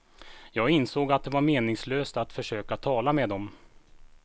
Jag insåg att det var meningslöst att försöka tala med dem.